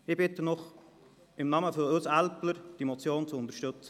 Ich bitte Sie im Namen von uns Älplern, diese Motion zu unterstützen.